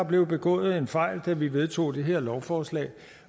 blev begået en fejl da vi vedtog det her lovforslag